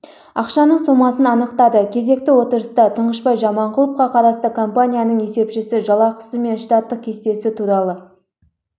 ақшаның сомасын анықтады кезекті отырыста тұңғышбай жаманқұловқа қарасты компанияның есепшісі жалақысы мен штаттық кестесі туралы